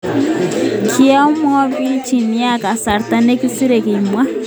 Kiaboiboitchin nea kasarta nekosire, kimwa.